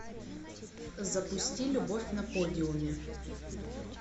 запусти любовь на подиуме